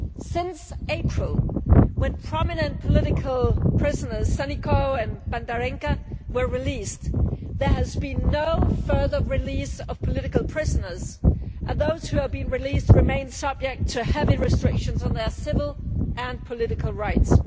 Since April, when prominent political prisoners Sannikau and Bandarenka were released, there has been no further release of political prisoners and those who have been released remain subject to heavy restrictions on their civil and political rights.